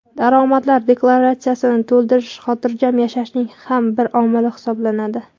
Daromadlar deklaratsiyasini to‘ldirish xotirjam yashashning ham bir omili hisoblanadi.